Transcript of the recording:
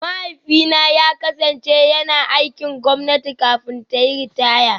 Mahaifina ya kasance yana aikin gwamnati kafin ta yi ritaya